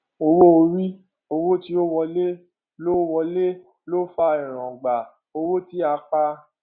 owó orí owó tí ó wọlé ló ó wọlé ló fa èròǹgbà owó tí a pa